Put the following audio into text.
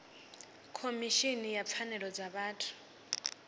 khomishini ya pfanelo dza vhathu